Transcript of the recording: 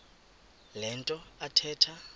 le nto athetha